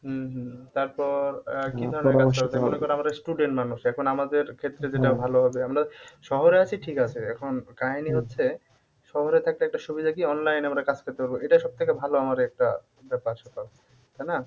উম হম তারপর আমরা student মানুষ এখন আমাদের ক্ষেত্রে যেটা ভালো হবে আমরা শহরে আছি ঠিক আছে এখন কাহিনী হচ্ছে শহরে থাকলে একটা সুবিধা কি online এ আমরা কাজ করতে পারবো এটা সব থেকে ভালো আমাদের একটা ব্যাপার স্যাপার তাই না?